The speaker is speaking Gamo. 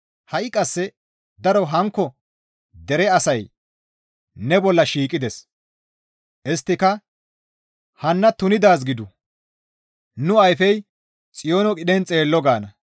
Ha7i qasse daro hankko dere asay ne bolla shiiqides; Isttika, ‹Hanna tunidaaz gidu! nu ayfey Xiyoono qidhen xeello› gaana.